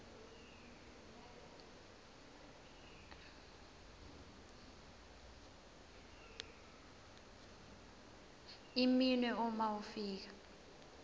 iminwe uma ufika